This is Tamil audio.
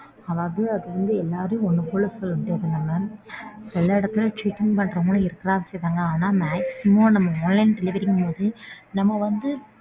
அதாவது அது வந்து எல்லாரையும் ஒண்ணு போல சொல்லமுடியாது. நம்ம எல்லா இடத்துலையும் cheating பண்றவங்களும் இருக்கத்தான் செய்யறாங்க. ஆனா maximum நம்ம online delivery ங்கும்போது நம்ம வந்து.